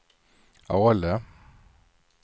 Ale